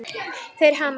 Þeir hamast.